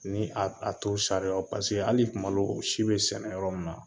Ni a t'o sariyaw paseke hali kumadɔw o si be sɛnɛ yɔrɔ min na